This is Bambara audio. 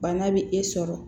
Bana bɛ e sɔrɔ